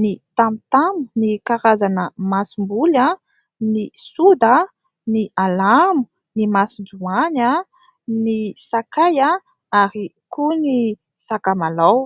ny tamotamo, ny karazana masomboly, ny soda, ny alamo, ny masonjoany, ny sakay ary koa ny sakamalaho.